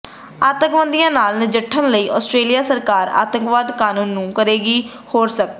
ਅੱਤਵਾਦੀਆਂ ਨਾਲ ਨਜਿੱਠਣ ਲਈ ਆਸਟ੍ਰੇਲੀਆ ਸਰਕਾਰ ਅੱਤਵਾਦ ਕਾਨੂੰਨ ਨੂੰ ਕਰੇਗੀ ਹੋਰ ਸਖਤ